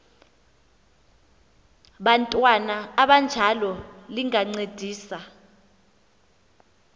bantwana abanjalo lingancedisa